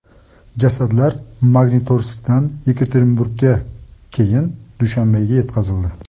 Jasadlar Magnitorskdan Yekaterinburgga, keyin Dushanbega yetkazildi.